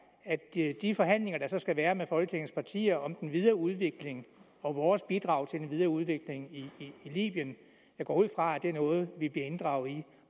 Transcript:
de forhandlinger der så skal være med folketingets partier om den videre udvikling og vores bidrag til den videre udvikling i libyen jeg går ud fra at det er noget vi bliver inddraget i